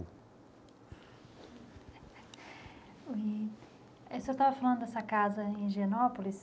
Eh... O senhor estava falando dessa casa em Higienópolis.